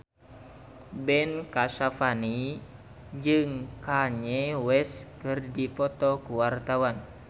Ben Kasyafani jeung Kanye West keur dipoto ku wartawan